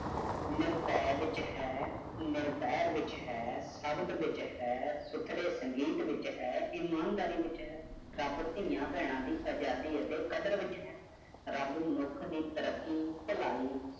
ਅਮ੍ਰਿਤ ਵਿਚ ਹੈ, ਜਹਿਰ ਵਿਚ ਹੈ, ਸ਼ਬਦ ਵਿਚ ਹੈ, ਸੁਥਰੇ ਸੰਗੀਤ ਵਿਚ ਹੈ, ਇਮਾਨਦਾਰੀ ਵਿਚ ਹੈ, ਰਬ ਧੀਆਂ ਪੈਣਾ ਦੀ ਆਜ਼ਾਦੀ ਅਤੇ ਕਦਰ ਵਿਚ ਹੈ, ਰਬ ਮਨੁੱਖ ਦੀ ਤਰੀਕੀ, ਭਲਾਈ